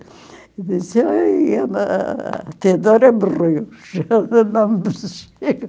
E eu disse, ai, a Theodora morreu, já não